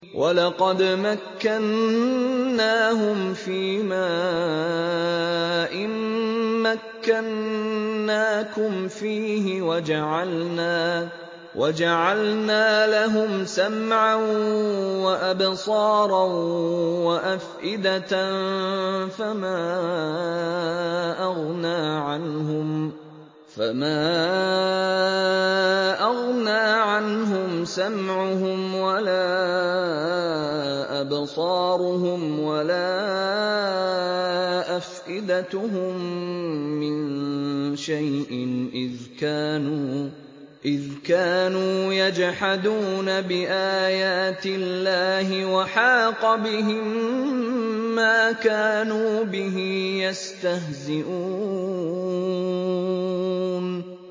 وَلَقَدْ مَكَّنَّاهُمْ فِيمَا إِن مَّكَّنَّاكُمْ فِيهِ وَجَعَلْنَا لَهُمْ سَمْعًا وَأَبْصَارًا وَأَفْئِدَةً فَمَا أَغْنَىٰ عَنْهُمْ سَمْعُهُمْ وَلَا أَبْصَارُهُمْ وَلَا أَفْئِدَتُهُم مِّن شَيْءٍ إِذْ كَانُوا يَجْحَدُونَ بِآيَاتِ اللَّهِ وَحَاقَ بِهِم مَّا كَانُوا بِهِ يَسْتَهْزِئُونَ